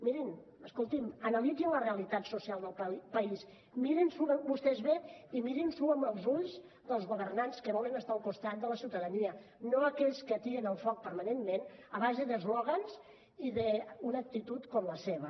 mirin escoltin analitzin la realitat social del país mirin s’ho vostès bé i mirin s’ho amb els ulls dels governants que volen estar al costat de la ciutadania no d’aquells que atien el foc permanentment a base d’eslògans i d’una actitud com la seva